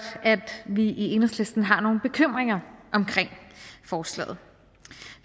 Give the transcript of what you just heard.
at vi i enhedslisten har nogle bekymringer i forslaget